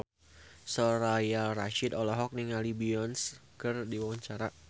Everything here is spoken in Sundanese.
Soraya Rasyid olohok ningali Beyonce keur diwawancara